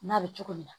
N'a bɛ cogo min na